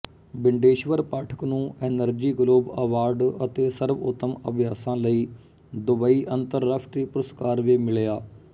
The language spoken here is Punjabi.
ਬਿੰਡੇਸ਼ਵਰ ਪਾਠਕ ਨੂੰ ਐਨਰਜੀ ਗਲੋਬ ਅਵਾਰਡ ਅਤੇ ਸਰਵਉੱਤਮ ਅਭਿਆਸਾਂ ਲਈ ਦੁਬਈ ਅੰਤਰਰਾਸ਼ਟਰੀ ਪੁਰਸਕਾਰ ਵੀ ਮਿਲਿਆ